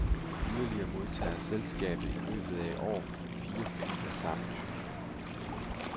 Yderligere modtager selskabet i løbet af i år fire fly af samme type.